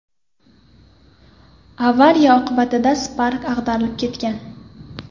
Avariya oqibatida Spark ag‘darilib ketgan.